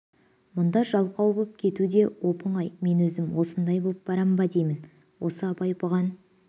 мұнда жалқау боп кету де оп-оңай мен өзім осындай боп барам ба деймін осы абай бұған